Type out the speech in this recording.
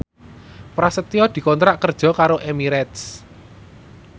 Prasetyo dikontrak kerja karo Emirates